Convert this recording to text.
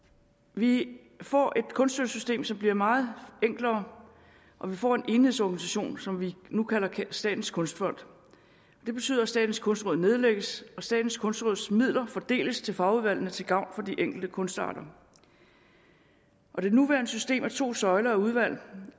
vi får et kunststøttesystem som bliver meget enklere og vi får en enhedsorganisation som vi nu kalder statens kunstfond det betyder at statens kunstråd nedlægges og at statens kunstråds midler fordeles til fagudvalgene til gavn for de enkelte kunstarter og det nuværende system med to søjler af udvalg